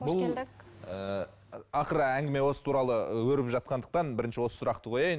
ақыры әңгіме осы туралы өрбіп жатқандықтан бірінші осы сұрақты қояйын